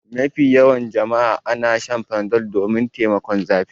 Mafi yawa ana Shan Panadol domin taimakon zafi.